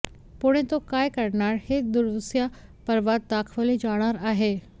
पुढे तो काय करणार हे दुसर्या पर्वात दाखवले जाणार आहे